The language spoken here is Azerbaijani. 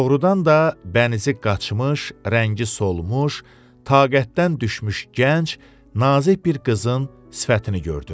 Doğrudan da bənizi qaçmış, rəngi solmuş, taqətdən düşmüş gənc nazik bir qızın sifətini gördüm.